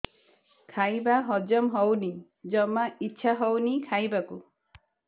ଖାଇବା ହଜମ ହଉନି ଜମା ଇଛା ହଉନି ଖାଇବାକୁ